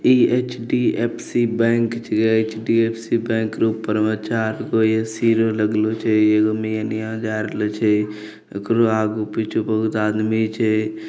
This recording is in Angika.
यह एच.डी.एफ.सी. बैंक छे एच.डी.एफ.सी. बैंक ऊपरवा चारगो ऐ.सी. लगालो छे एगो एनीया में पीछे आदमी छे।